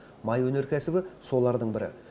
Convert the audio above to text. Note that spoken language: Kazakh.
май өнеркәсібі солардың бірі